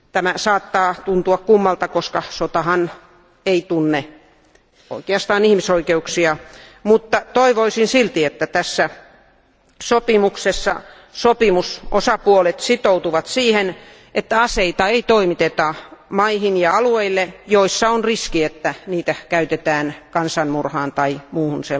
Tämä saattaa tuntua kummalta, koska sotahan ei oikeastaan tunne ihmisoikeuksia, mutta toivoisin silti, että tässä sopimuksessa sopimusosapuolet sitoutuvat siihen, että aseita ei toimiteta maihin ja alueille, joissa on riski, että niitä käytetään kansanmurhaan tai muuhun